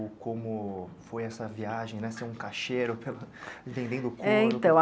Ou como foi essa viagem né, ser um caixeiro vendendo couro? É